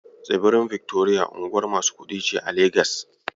Tsibirin Victoria unguwar masu kuɗi ce a 'Legas.